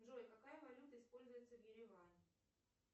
джой какая валюта используется в ереване